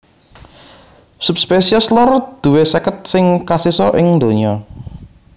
Subspesies lor duwé seket sing kasisa ing donya